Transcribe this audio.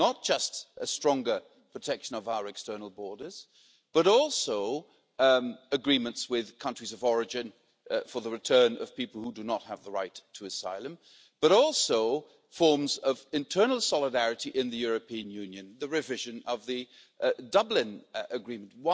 Not just a stronger protection of our external borders, but also agreements with countries of origin for the return of people who do not have the right to asylum, as well as forms of internal solidarity in the European Union and the revision of the Dublin Agreement.